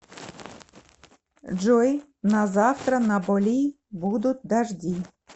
джой на завтра на боли будут дожди